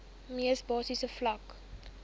mees basiese vlak